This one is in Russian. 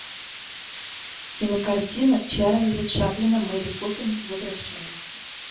кинокартина чарльза чаплина мэри поппинс возвращается